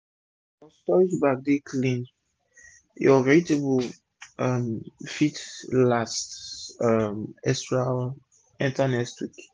if ur storage bags dey clean ur vegetable um fit last um enta next week